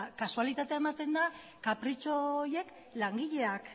kasualitatea ematen da kapritxo horiek langileak